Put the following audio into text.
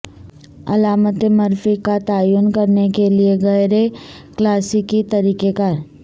علامات مرفی کا تعین کرنے کے غیر کلاسیکی طریقہ کار